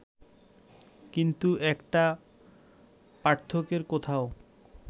কিন্তু একটা পার্থক্যের কথাও